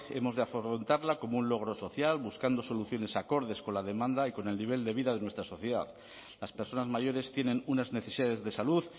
hemos de afrontarla como un logro social buscando soluciones acordes con la demanda y con el nivel de vida de nuestra sociedad las personas mayores tienen unas necesidades de salud